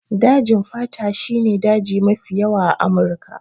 Dajin fata shi ne daji mafi yawa a Amurika.